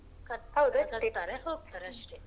ಹೋಕ್ತಾರೆ ಅಷ್ಟೇ.